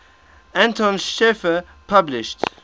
anton schiefner published